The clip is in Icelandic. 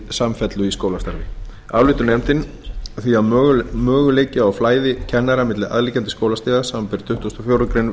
samfellu í skólastarfi álítur nefndin því að möguleiki á flæði kennara milli aðliggjandi skólastiga samanber tuttugustu og fjórðu grein